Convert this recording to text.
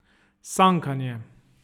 Sankanje.